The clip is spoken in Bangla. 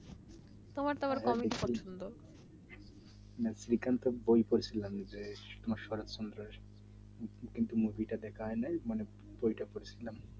শ্রীকান্ত বই পড়ছিলাম যে শরৎচন্দ্রের কিন্তু movie দেখা হয় নাই বইটা পরেছিলাম